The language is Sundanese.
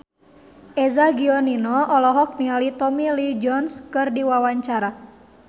Eza Gionino olohok ningali Tommy Lee Jones keur diwawancara